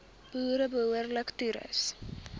boere behoorlik toerus